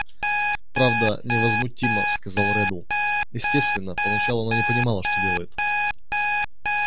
правда невозмутимо сказал реддл естественно поначалу она не понимала что делает